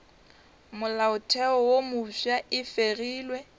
molaotheo wo mofsa e fegilwe